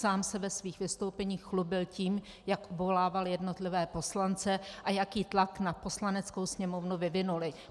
Sám se ve svých vystoupeních chlubil tím, jak obvolával jednotlivé poslance a jaký tlak na Poslaneckou sněmovnu vyvinuli.